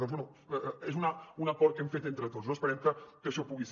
doncs bé és un acord que hem fet entre tots no esperem que això pugui ser